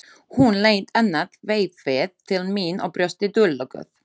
Hún leit annað veifið til mín og brosti dulúðugt.